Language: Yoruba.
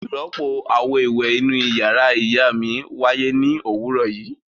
Ìrọ́pò àwo-ìwẹ̀ inú ìyàrá ìyá mi wáyé ní òwúrọ̀ yìí.